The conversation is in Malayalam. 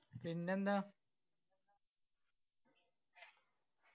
പിന്നെന്താ